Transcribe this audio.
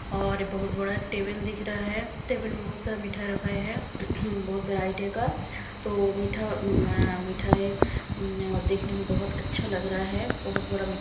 और बहुत बड़ा एक टेबल दिख रहा है टेबल में बहुत सारा मिठाई रखा है बहुत बड़ा वैरायटी का तो मीठा में अह मिठाई अह देखने में बहुत अच्छा लग रहा है बहुत बड़ा मी --